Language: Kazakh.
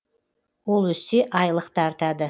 ол өссе айлық та артады